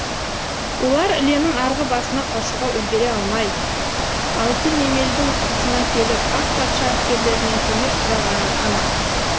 олар іленің арғы басына қашуға үлгере алмай алтынемелдің тұсына келіп ақ патша әскерлерінен көмек сұрағаны анық